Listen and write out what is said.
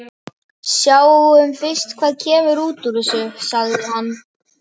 Sjáum fyrst hvað kemur út úr þessu, sagði hann.